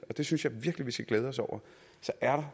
det synes jeg virkelig vi skal glæde os over så er